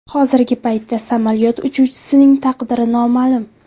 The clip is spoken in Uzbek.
Hozirgi paytda samolyot uchuvchisining taqdiri noma’lum.